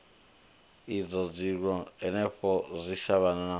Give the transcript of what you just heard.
idzwo zwiko hanefho zwitshavhano zwazwino